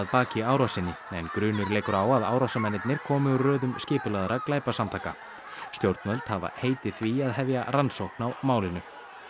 baki árásinni en grunur leikur á að árásarmennirnir komi úr röðum skipulagðra glæpasamtaka stjórnvöld hafa heitið því að hefja rannsókn á málinu